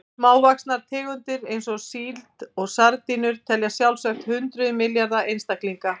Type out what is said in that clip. Smávaxnar tegundir eins og síld og sardínur telja sjálfsagt hundruð milljarða einstaklinga.